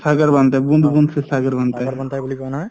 O sagar banta hair bund bund see sagar banta hai